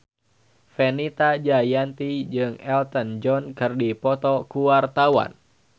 Fenita Jayanti jeung Elton John keur dipoto ku wartawan